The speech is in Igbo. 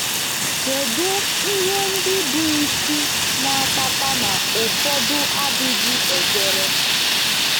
Kedu ihe ndị bụ isi na-akpata na ụfọdụ adịghị ekwere?